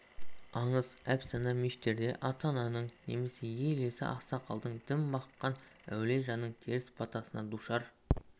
аңыз әпсана мифтерде ата-ананың немесе ел иесі ақсақалдың дін баққан әулие жанның теріс батасына душар